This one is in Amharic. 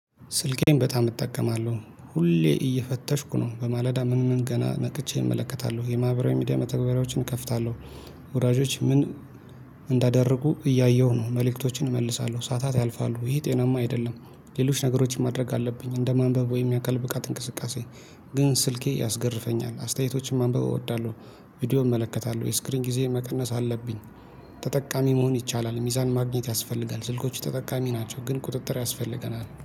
ስልኬን በጣም እጠቀማለሁ። ሁሌ እየፈተሽኩ ነው። በማለዳ ምንም ገና ነቅቼ እመለከታለሁ። የማህበራዊ ሚዲያ መተግበሪያዎችን እከፍታለሁ። ወዳጆቼ ምን እንዳደረጉ እያየሁ ነው። መልእክቶችን እመልሳለሁ። ሰዓታት ያልፋሉ፤ ይሄ ጤናማ አይደለም። ሌሎች ነገሮችን ማድረግ አለብኝ። እንደማንበብ ወይም የአካል ብቃት እንቅስቃሴ ግን ስልኬ ያስገርመኛል፤ አስተያየቶችን ማንበብ እወዳለሁ። ቪዲዮ እመለከታለሁ፤ ወይ ስክሪን ጊዜ መቀነስ አለብኝ። ተጠቃሚ መሆን ይቻላል። ሚዛን ማግኘት ያስፈልጋል። ስልኮች ተጠቃሚ ናቸው፤ ግን ቁጥጥር ያስፈልገናል።